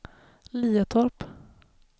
Liatorp